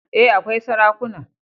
E, akwai sarakuna.